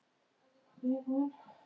Allt var notað og nýtt.